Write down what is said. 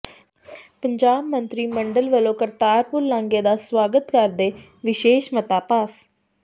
ਪੰਜਾਬ ਮੰਤਰੀ ਮੰਡਲ ਵੱਲੋਂ ਕਰਤਾਰਪੁਰ ਲਾਂਘੇ ਦਾ ਸਵਾਗਤ ਕਰਦੇ ਵਿਸ਼ੇਸ਼ ਮਤਾ ਪਾਸ